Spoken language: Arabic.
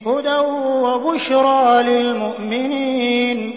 هُدًى وَبُشْرَىٰ لِلْمُؤْمِنِينَ